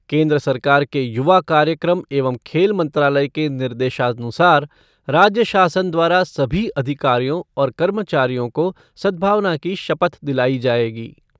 केन्द्र सरकार के युवा कार्यक्रम एवं खेल मंत्रालय के निर्देशानुसार राज्य शासन द्वारा सभी अधिकारियों और कर्मचारियों को सदभावना की शपथ दिलाई जाएगी।